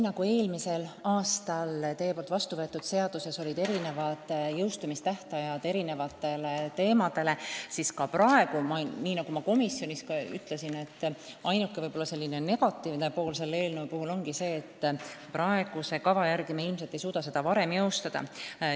Ka eelmisel aastal siin saalis vastu võetud seaduse sätetel olid erinevad jõustumistähtajad ja seda ma ütlesin ka komisjonis, et ainuke negatiivne tegur selle eelnõu puhul ongi see, et praeguse kava järgi me ilmselt ei suuda seda varem jõustada.